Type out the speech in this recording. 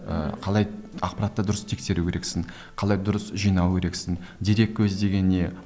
ыыы қалай ақпаратты дұрыс тексеру керексің қалай дұрыс жинау керексің дереккөз деген не